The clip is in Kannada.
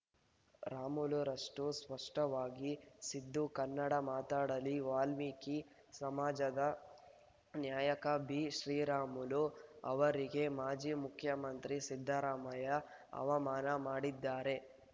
ರಾಮುಲುರಷ್ಟುಸ್ಪಷ್ಟವಾಗಿ ಸಿದ್ದು ಕನ್ನಡ ಮಾತಾಡಲಿ ವಾಲ್ಮೀಕಿ ಸಮಾಜದ ನ್ಯಾಯಕ ಬಿಶ್ರೀರಾಮುಲು ಅವರಿಗೆ ಮಾಜಿ ಮುಖ್ಯಮಂತ್ರಿ ಸಿದ್ದರಾಮಯ್ಯ ಅವಮಾನ ಮಾಡಿದ್ದಾರೆ